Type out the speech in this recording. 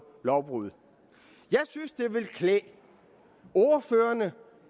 lovbrud jeg synes det ville klæde ordførerne